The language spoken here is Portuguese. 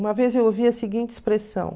Uma vez eu ouvi a seguinte expressão.